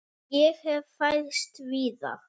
Ég hef fæðst víða.